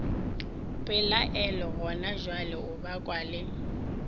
pelaelo gonabjale o bakwa le